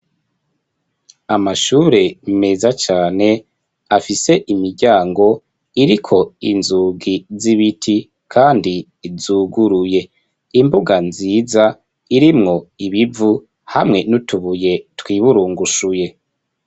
Amashure meza cane afise imiryango iriko inzugi z'ibiti kandi zuguruye imbuga nziza irimwo ibivu hamwe n'utubuye twiburungushuye.